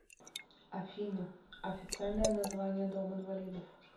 афина официальное название дом инвалидов